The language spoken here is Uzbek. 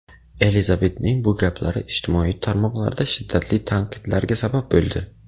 Elizabetning bu gaplari ijtimoiy tarmoqlarda shiddatli tanqidlarga sabab bo‘ldi.